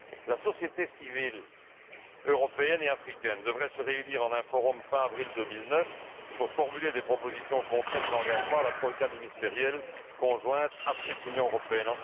La société civile européenne et africaine devrait se réunir en un forum fin avril 2009 pour formuler des propositions concrètes d'engagement à la troïka ministérielle conjointe Afrique Union européenne.